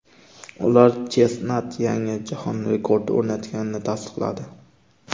Ular Chestnat yangi jahon rekordi o‘rnatganini tasdiqladi.